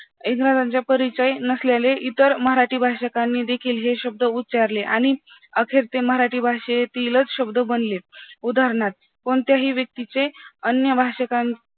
इंग्रजांचा परिचय नसलेले इतर मराठी भाषकांनी देखील हे शब्द उचारले आणि अखेर ते मराठी भाषेतील च शब्द बनले उत्तरनार्थ कोणते हि व्यक्ती चे अन्य भाषकांचे